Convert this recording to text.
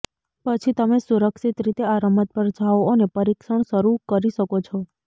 પછી તમે સુરક્ષિત રીતે આ રમત પર જાઓ અને પરીક્ષણ શરૂ કરી શકો છો